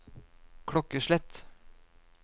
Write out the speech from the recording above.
klokkeslett